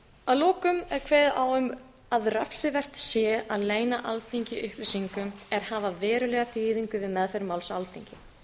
að lokum er kveðið á um að refsivert sé að leyna alþingi upplýsingum er hafa verulega þýðingu við meðferð máls á alþingi